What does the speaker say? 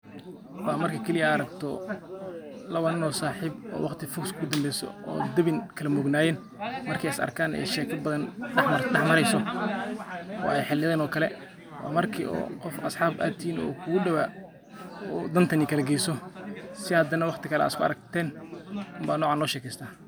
Waa marki kaali eh aad araagto laawa nin o saxiib o waaqti foog iskugu dambeyso o diwin, kala moog nayeen Marki isarkaan ee sheeka bathaan daax mareyso o ee xiliyathaan o kalee marki o qof asxaab atihiin o kugu dawaa o dantan nikalageyso sii aad waqti kalee isku aragteen baa nocaan losheekestaa.